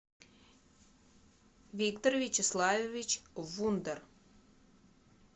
виктор вячеславович вундер